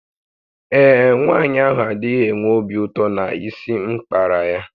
Ee e, nwanyị ahụ adịghị enwe obi ụtọ na isi m kpara ya